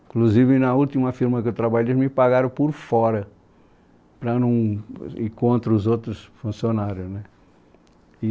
Inclusive, na última firma que eu trabalhei, eles me pagaram por fora, para não ir contra os outros funcionários né